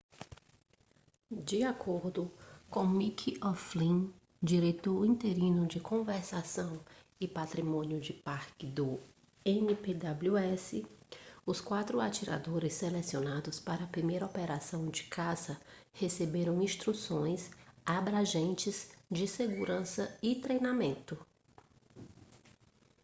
de acordo com mick o'flynn diretor interino de conservação e patrimônio de parque do npws os quatro atiradores selecionados para a primeira operação de caça receberam instruções abrangentes de segurança e treinamento